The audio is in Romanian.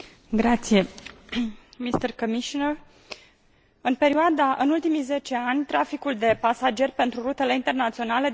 În ultimii zece ani, traficul de pasageri pentru rutele internaționale deservite de către aeroporturile regionale a crescut cu